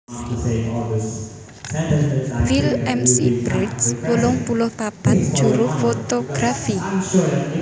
Will McBride wolung puluh papat juru fotografi